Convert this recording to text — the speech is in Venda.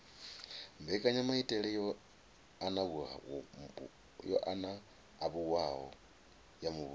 mbekanyamaitele yo anavhuwaho ya muvhuso